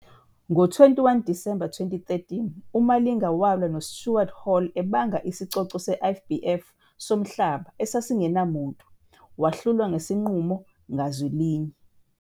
Ngo-21 Disemba 2013 uMalinga walwa noStuart Hall ebanga isicoco se-IBF somhlaba esasingenamuntu wahlulwa ngesinqumo ngazwilinye.